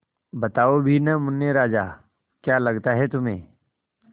बताओ भी न मुन्ने राजा क्या लगता है तुम्हें